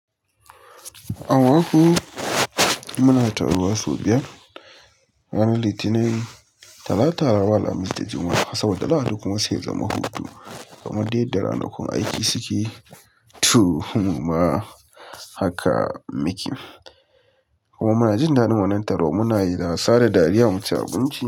Aboki, muna taruwa sau biyar; ranar Litinin, Talata, Laraba, Alhamis da Juma'a. Saboda Lahadi kuma zai zama hutu. Kamar dai yadda ranakun aiki suke, to muma haka muke kuma muna jin daɗin wannan taro. Muna yin wasa da dariya, mu ci abinci.